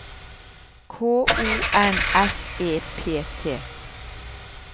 K O N S E P T